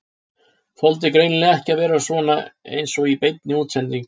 Þoldi greinilega ekki að vera svona eins og í beinni útsendingu.